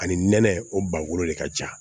Ani nɛnɛ o bago de ka ca